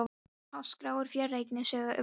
Á þennan hátt skráir frjóregnið sögu umhverfisins.